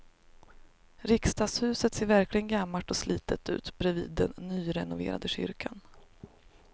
Riksdagshuset ser verkligen gammalt och slitet ut bredvid den nyrenoverade kyrkan.